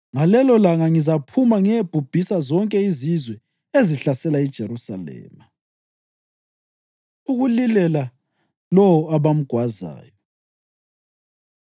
Ngalelolanga ngizaphuma ngiyebhubhisa zonke izizwe ezihlasela iJerusalema.” Ukulilela Lowo Abamgwazayo